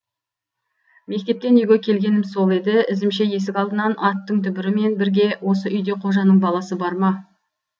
мектептен үйге келгенім сол еді ізімше есік алдынан аттың дүбірі мен бірге осы үйде қожаның баласы бар ма